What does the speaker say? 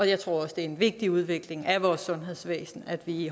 jeg tror også det er en vigtig udvikling af vores sundhedsvæsen at vi i